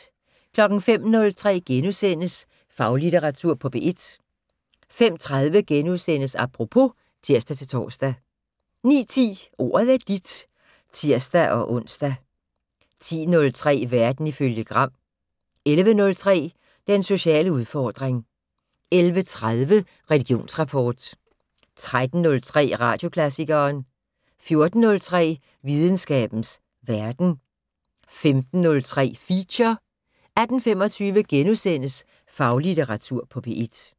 05:03: Faglitteratur på P1 * 05:30: Apropos *(tir-tor) 09:10: Ordet er dit (tir-ons) 10:03: Verden ifølge Gram 11:03: Den sociale udfordring 11:30: Religionsrapport 13:03: Radioklassikeren 14:03: Videnskabens Verden 15:03: Feature 18:25: Faglitteratur på P1 *